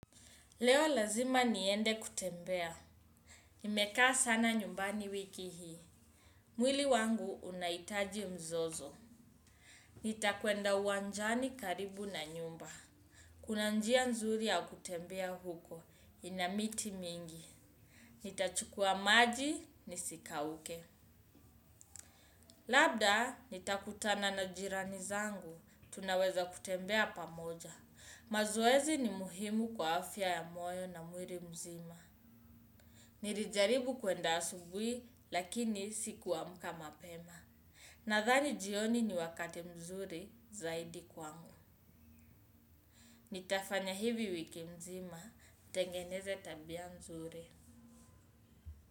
Leo lazima niende kutembea. Nimekaa sana nyumbani wiki hii. Mwili wangu unaitaji mzozo. Nitakwenda uwanjani karibu na nyumba. Kuna njia nzuri ya kutembea huko. Ina miti mingi. Nitachukua maji, nisikauke. Labda, nitakutana na jirani zangu. Tunaweza kutembea pamoja. Mazoezi ni muhimu kwa afya ya moyo na mwili mzima. Nilijaribu kuenda asubuhi lakini sikuamka mapema. Nadhani jioni ni wakati mzuri zaidi kwangu. Nitafanya hivi wiki nzima, nitengeneze tabia mzuri.